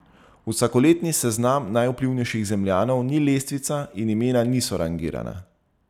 Vsakoletni seznam najvplivnejših Zemljanov ni lestvica in imena niso rangirana.